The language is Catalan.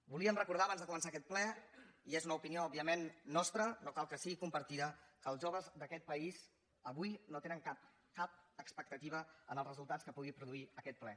volíem recordar abans de començar aquest ple i és una opinió òbviament nostra no cal que sigui compartida que els joves d’aquest país avui no tenen cap cap expectativa en els resultats que pugui produir aquest ple